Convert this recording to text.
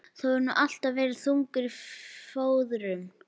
Þú hefur nú alltaf verið þungur á fóðrum.